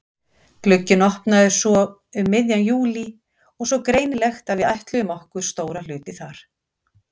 Glugginn opnaði svo um miðjan júlí og greinilegt að við ætluðum okkur stóra hluti þar.